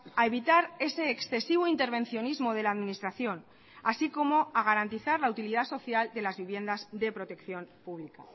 a evitar ese excesivo intervencionismo de la administración así como a garantizar la utilidad social de las viviendas de protección pública